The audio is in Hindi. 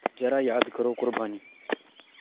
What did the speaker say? ज़रा याद करो क़ुरबानी